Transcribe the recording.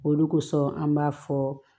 Olu kosɔn an b'a fɔ